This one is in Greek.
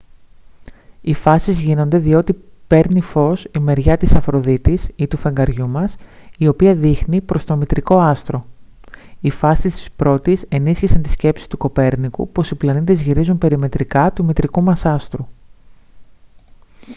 οι φάσεις γίνονται διότι παίρνει φως η μεριά της αφροδίτης ή του φεγγαριού μας η οποία δείχνει προς το μητρικό άστρο. οι φάσεις της πρώτης ενίσχυσαν τη σκέψη του κοπέρνικου πως οι πλανήτες γυρίζουν περιμετρικά του μητρικού μας άστρου